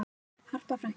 Harpa frænka.